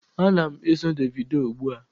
Ana m eso Davido ugbua.